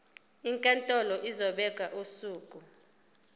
inkantolo izobeka usuku